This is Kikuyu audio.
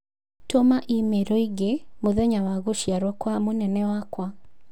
Tũma i-mīrū ĩĩgiĩ mũthenya wa gũciarũo kwa mũnene wakwa